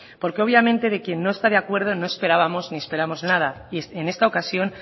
porque obviamente de quien no está de acuerdo no esperábamos ni esperamos nada y en esta ocasión